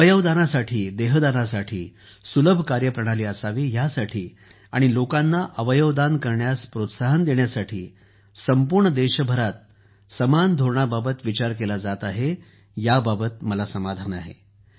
अवयव दानासाठी सुलभ कार्यप्रणाली असावी ह्यासाठी आणि लोकांना अवयव दान करण्यास प्रोत्साहन देण्यासाठी संपूर्ण देशभरात समान धोरणा बाबत विचार केला जात आहे याबद्दल मला समाधान आहे